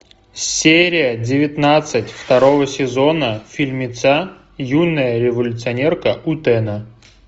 серия девятнадцать второго сезона фильмеца юная революционерка утэна